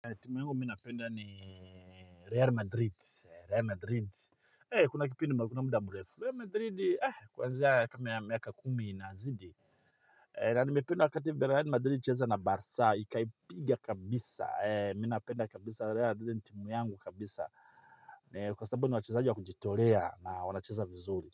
Timu yangu minapenda ni Real Madrid, Real Madrid, eh kuna kipindi nimependa muda mrefu, Real Madrid eh kwanzia kama ya miaka kumi inazidi. Na nimependa wakati Real Madrid ilicheza na Barca, ikaipiga kabisa, eh mi napenda kabisa Real Madrid ni timu yungu kabisa. Kwa sababu ni wachezaji wa kujitolea na wanacheza vizuri. Kwa hivyo.